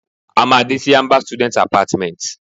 A maa de si amber students apartments